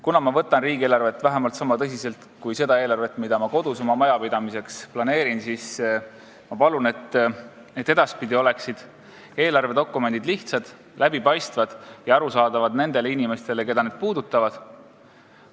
Kuna ma võtan riigieelarvet vähemalt sama tõsiselt kui seda eelarvet, mida ma kodus oma majapidamiseks planeerin, siis ma palun, et edaspidi oleksid eelarvedokumendid lihtsad, läbipaistvad ja arusaadavad inimestele, keda need puudutavad.